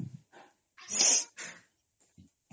sound